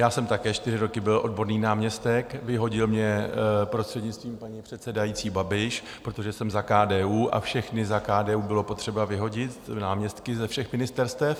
Já jsem také čtyři roky byl odborný náměstek, vyhodil mě, prostřednictvím paní předsedající, Babiš, protože jsem za KDU, a všechny za KDU bylo potřeba vyhodit, náměstky ze všech ministerstev.